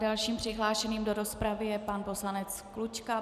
Dalším přihlášeným do rozpravy je pan poslanec Klučka.